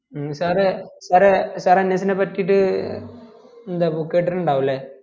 ഹും sir എ sirsir ns നെ പറ്റീട്ട് എന്താപ്പോ കേട്ടിട്ടിണ്ടാവും അല്ലെ